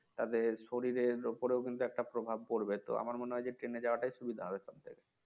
তাদের শরীরের ওপরেও কিন্তু একটা প্রভাব পড়বে তো আমার মনে হয় যে Train যাওয়াটাই সুবিধা হবে সব থেকে